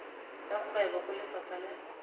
tsa kgwebo go lefapha la